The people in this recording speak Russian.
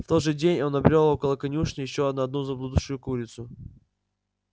в тот же день он набрёл около конюшни ещё на одну заблудшую курицу